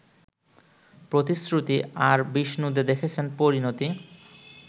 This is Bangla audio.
‘প্রতিশ্রুতি’ আর বিষ্ণু দে দেখেছেন ‘পরিণতি’